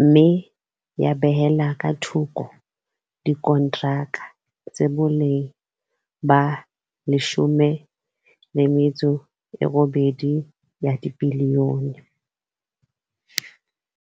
mme ya behella ka thoko dikontraka tsa boleng ba R18 bilione.